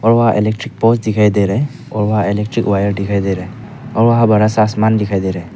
Electric board दिखाई दे रहा है और इलेक्ट्रिक वायर दिखाई दे रहा है और वहां बड़ा सा आसमान दिखाई दे रहा है।